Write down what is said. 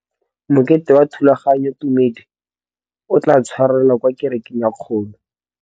Mokete wa thulaganyôtumêdi o tla tshwarelwa kwa kerekeng e kgolo.